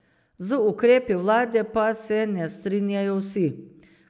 Z ukrepi vlade pa se ne strinjajo vsi.